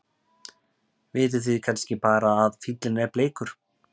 Vitið þið kannski bara að fíllinn er bleikur?